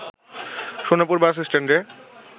Sonapur bus স্ট্যান্ডে